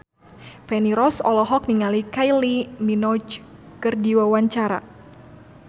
Feni Rose olohok ningali Kylie Minogue keur diwawancara